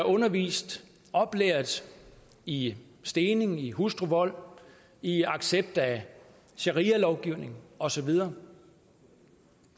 undervist og oplært i stening i hustruvold i accept af sharialovgivning og så videre